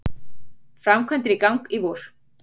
Framkvæmdir í gang í vor